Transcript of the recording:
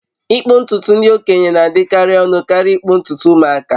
ịkpụ ntutu ndị okenye na-adịkarị ọnụ karịa ịkpụ ntutu ụmụaka